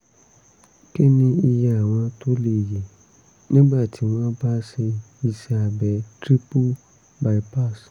kí ni iye àwọn tó lè yè nígbà tí wọ́n bá ṣe iṣẹ́ abẹ triple bypass?